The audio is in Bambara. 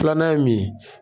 Filanan ye mun ye?